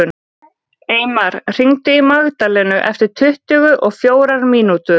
Eymar, hringdu í Magdalenu eftir tuttugu og fjórar mínútur.